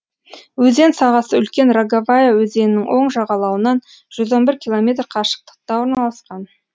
өзен сағасы үлкен роговая өзенінің оң жағалауынан жүз он бір километр қашықтықта орналасқан